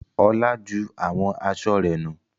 Olá ju àwọn aṣọ rẹ̀ nù.